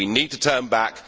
We need to turn back.